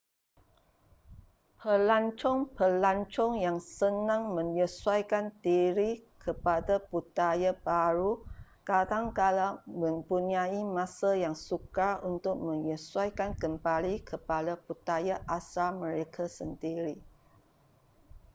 pelancong-pelancong yang senang menyesuaikan diri kepada budaya baharu kadang-kadang mempunyai masa yang sukar untuk menyesuaikan kembali kepada budaya asal mereka sendiri